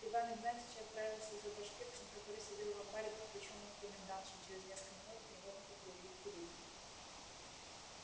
иван игнатьич отправился за башкирцем который сидел в анбаре под ключом у комендантши и через несколько минут невольника привели в переднюю